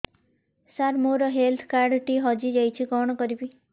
ସାର ମୋର health card ଟି ହଜି ଯାଇଛି କଣ କରିବି